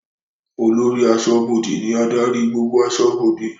Olórí aṣọ́bọdè ní adarí gbogbo aṣọ́bọdè